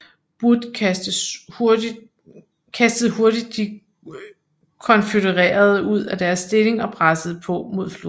Wood kastede hurtigt de konfødererede ud af deres stilling og pressede på mod floden